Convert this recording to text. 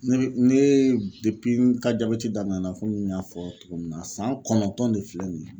Ne bɛ ne n ka jabɛti daminɛna komi n y'a fɔ cogo min na san kɔnɔntɔn de filɛ nin ye.